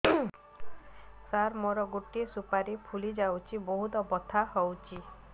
ସାର ମୋର ଗୋଟେ ସୁପାରୀ ଫୁଲିଯାଇଛି ବହୁତ ବଥା ହଉଛି